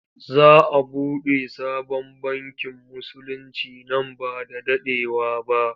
Za a buɗe sabon bankin Musulinci nan ba da daɗewa ba.